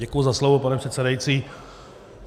Děkuji za slovo, pane předsedající.